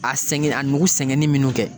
A sɛgɛn a nugu sɛgɛnen minnu kɛ